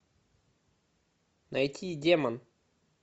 найти демон